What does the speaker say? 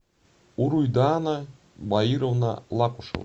уруйдаана баировна лакушева